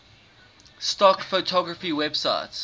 stock photography websites